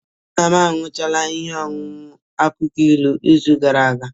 Nna m aṅụchala ihe ọṅụṅụ akwụkwọ ilu n'izu gara aga